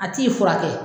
A t'i furakɛ